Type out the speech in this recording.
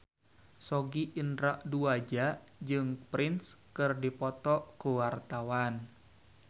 Sogi Indra Duaja jeung Prince keur dipoto ku wartawan